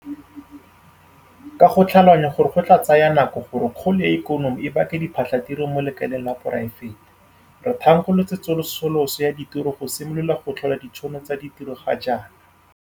Ka go tlhaloganya gore go tla tsaya nako gore kgolo ya ikonomi e bake diphatlhatiro mo lekaleng la poraefete, re thankgolotse tsosoloso ya ditiro go simolola go tlhola ditšhono tsa ditiro ga jaana.